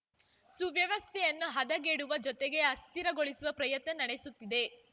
ಸುವ್ಯವಸ್ಥೆಯನ್ನು ಹದಗೆಡುವ ಜೊತೆಗೆ ಅಸ್ಥಿರಗೊಳಿಸುವ ಪ್ರಯತ್ನ ನಡೆಸುತ್ತಿದೆ